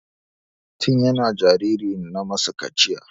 Ɗana tin yana jariri na masa kaciya.